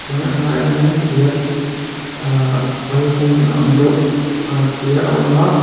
a hnaiah hian thîr ahh pal hungna ang deuh a thîr a awm a.